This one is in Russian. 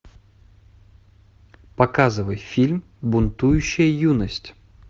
показывай фильм бунтующая юность